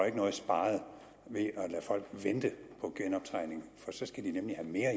ikke noget sparet ved at lade folk vente på genoptræning for så skal de nemlig have mere